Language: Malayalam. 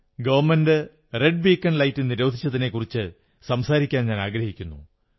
ഗവൺമെന്റ് റെഡ് ബീക്കൺ ലൈറ്റ് നിരോധിച്ചതിനെക്കുറിച്ചു സംസാരിക്കാനാഗ്രഹിക്കുന്നു